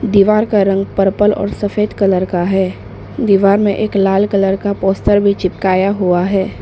दीवार का रंग पर्पल और सफेद कलर का है दीवार में एक लाल कलर का पोस्टर भी चिपकाया हुआ है।